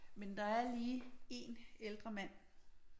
Men der er lige én ældre mand